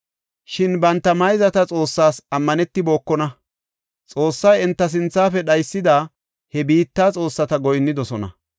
Shin banta mayzata Xoossaas ammanetibokona; Xoossay enta sinthafe dhaysida he biitta xoossata goyinnidosona.